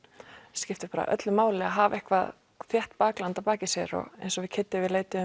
skiptir bara öllu máli að hafa eitthvað þétt bakland að baki sér og eins og við Kiddi við leituðum